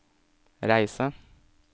reise